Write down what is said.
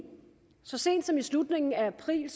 så sent som i slutningen af april